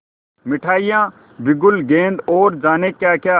मिठाइयाँ बिगुल गेंद और जाने क्याक्या